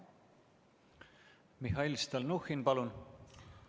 Mihhail Stalnuhhin, palun!